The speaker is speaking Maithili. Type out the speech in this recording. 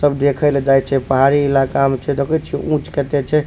सब देखें ले जाय छै पहाड़ी इलका में छै देखे छीये ऊंच कते छै।